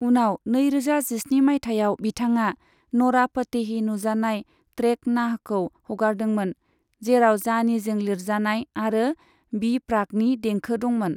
उनाव नैरोजा जिस्नि माइथायाव बिथाङा न'रा फतेही नुजानाय ट्रेक नाहखौ हगारदोंमोन, जेराव जानीजों लिरजानाय आरो बी प्राकनि देंखो दंमोन।